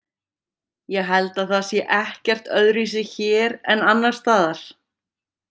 Ég held að það sé ekkert öðruvísi hér en annars staðar.